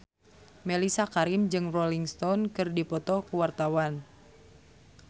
Mellisa Karim jeung Rolling Stone keur dipoto ku wartawan